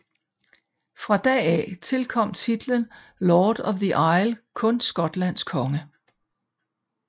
Fra da af tilkom titlen Lord of the Isles kun Skotlands konge